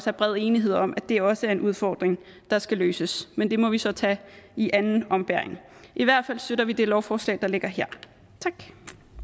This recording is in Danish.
er bred enighed om at det også er en udfordring der skal løses men det må vi så tage i anden ombæring i hvert fald støtter vi det lovforslag der ligger her tak